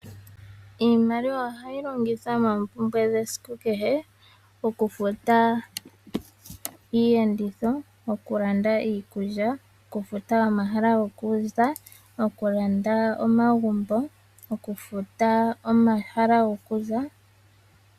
Iimaliwa ohayi longithwa moompumbwe dhesiku kehe. Okufuta iiyenditho, okulanda iikulya, okufuta omahala gokuza, okulanda omagumbo.